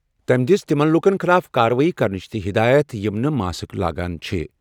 تٔمۍ دِژ تِمَن لوٗکَن خٕلاف کاروٲیی کرنٕچ تہِ ہدایت یِم نہٕ ماسک لاگان چھِ۔